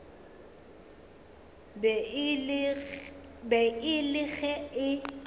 be e le ge e